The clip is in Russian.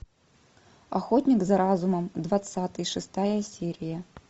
охотник за разумом двадцатый шестая серия